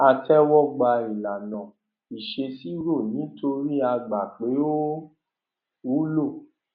a tẹwọ gba ìlànà ìṣèṣirò nítorí a gbà pé ó wúlò